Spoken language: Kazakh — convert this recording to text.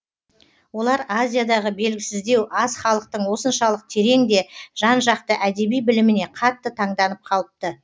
олар азиядағы белгісіздеу аз халықтың осыншалық терең де жан жақты әдеби біліміне қатты таңданып қалыпты